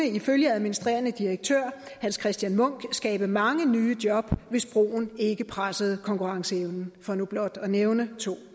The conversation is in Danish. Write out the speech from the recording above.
ifølge administrerende direktør hans christian munck kunne skabe mange nye job hvis broen ikke pressede konkurrenceevnen for nu blot at nævne to